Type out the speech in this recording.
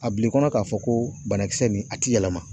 A bil'i kɔnɔ k'a fɔ ko banakisɛ nin a ti yɛlɛma.